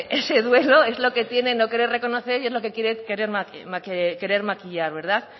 ese duelo es lo que tiene no querer reconocer y es lo que tiene querer maquillar verdad